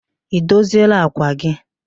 Ị dozieela àkwà gị?